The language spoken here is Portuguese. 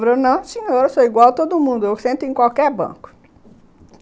Ele falou, não, senhor, eu sou igual a todo mundo, eu sento em qualquer banco.